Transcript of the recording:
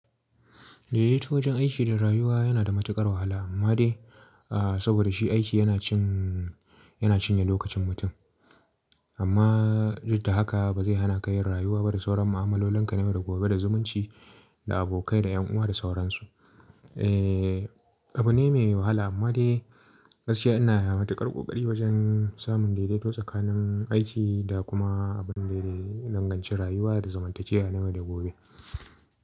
Daidaito wajen aiki da rayuwa yana da matuƙar wahala amma dai saboda shi aiki yana cin yana cinye lokacin mutum. Amma duk da haka ba zai hana ka yin rayuwa ba da sauran mu'amalolin ka na yau da gobe da zumunci da abokai da ƴan uwa da sauran su. Abu ne mai wahala amma dai gaskiya ana matuƙar ƙoƙari wajen samun daidaito tsakanin aiki da kuma abun da ya danganci rayuwa da zamantakewa na yau da gobe.